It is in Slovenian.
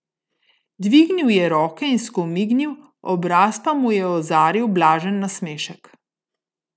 Dvignil je roke in skomignil, obraz pa mu je ozaril blažen nasmešek.